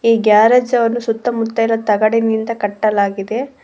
ಈ ಗ್ಯಾರೇಜ್ ಅವರು ಸುತ್ತಮುತ್ತ ತಗಡಿನಿಂದ ಕಟ್ಟಲಾಗಿದೆ.